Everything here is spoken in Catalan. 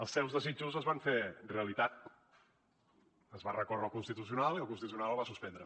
els seus desitjos es van fer realitat es va recórrer al constitucional i el constitucional el va suspendre